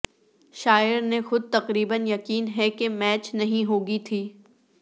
شاعر نے خود تقریبا یقین ہے کہ میچ نہیں ہو گی تھی